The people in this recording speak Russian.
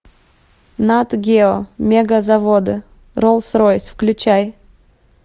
нат гео мегазаводы роллс ройс включай